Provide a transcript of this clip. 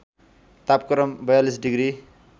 तापक्रम ४२ डिग्री